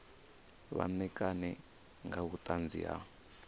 vha ṋekane nga vhuṱanzi ha